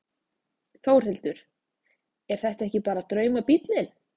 Þórhildur: Er þetta ekki bara draumabíllinn?